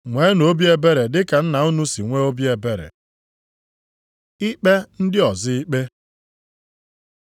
Nweenu obi ebere dị ka Nna unu si nwee obi ebere. Ikpe ndị ọzọ ikpe